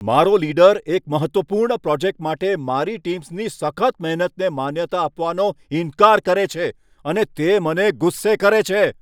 મારો લીડર એક મહત્ત્વપૂર્ણ પ્રોજેક્ટ માટે મારી ટીમ્સની સખત મહેનતને માન્યતા આપવાનો ઇનકાર કરે છે અને તે મને ગુસ્સે કરે છે.